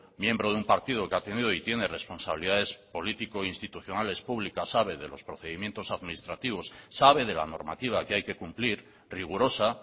miembro de un partido que ha tenido y tiene responsabilidades político institucionales públicas sabe de los procedimientos administrativos sabe de la normativa que hay que cumplir rigurosa